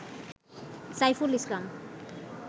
Saiful Islam